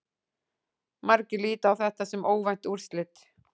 Margir líta á þetta sem óvænt úrslit.